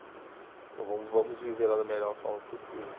Então vamos vamos viver lá da melhor forma possível.